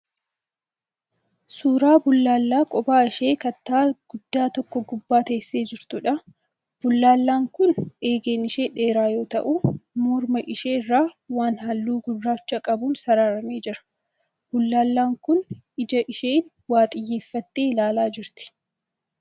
Suuraa bullaallaa kophaa ishee kattaa guddaa tokko gubbaa teessee jirtuudha. Bullaallaan kun eegeen ishee dheeraa yoo ta'u morma ishee irra waan halluu gurraacha qabuun sararamee jira. Bullaallaan kun ija isheen waa xiyyeeffattee ilaalaa jirti.